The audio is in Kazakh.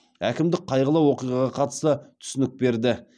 әкімдік қайғылы оқиғаға қатысты түсінік берді